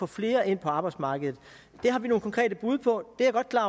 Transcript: flere ind på arbejdsmarkedet det har vi nogle konkrete bud på